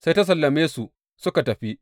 Sai ta sallame su suka tafi.